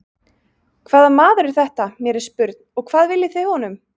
Hvaða maður er þetta, mér er spurn, og hvað viljið þið honum?